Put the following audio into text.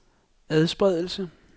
adspredelse